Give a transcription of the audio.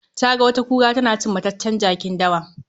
Taga wata kura tana cin mataccen jakin dawa.